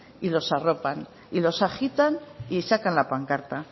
y los arropan y los agitan y sacan la pancarta